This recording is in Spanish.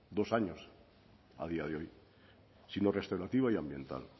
dos años a día de hoy sino restaurativa y ambiental